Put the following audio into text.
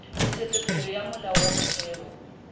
ntshetsopele ya molao wa motheo